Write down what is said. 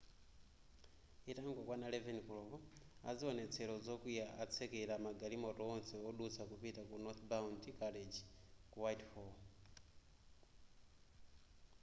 itangokwana 11 koloko aziwonetsero zokwiya atsekela magalimoto onse wodutsa kupita ku northbound carriage ku whitehall